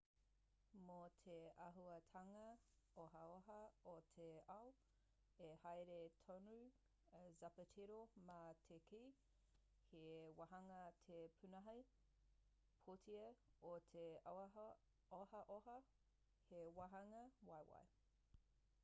mō te āhuatanga ohaoha o te ao i haere tonu a zapatero mā te kī he wāhanga te pūnaha pūtea o te ohaoha he wāhanga waiwai